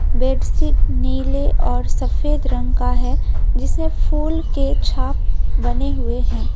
Bed sheet नीले और सफेद रंग का है जिसमें फूल के छाप बने हुए हैं।